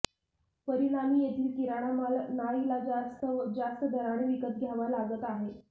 परिणामी येथील किराणा माल नाईलाजास्तव जास्त दराने विकत घ्यावा लागत आहे